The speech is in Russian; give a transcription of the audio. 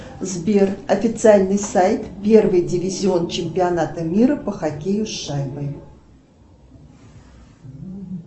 сбер официальный сайт первый дивизион чемпионата мира по хоккею с шайбой